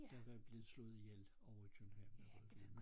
Der var blevet slået ihjel ovre i København